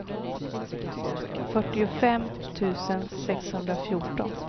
fyrtiofem tusen sexhundrafjorton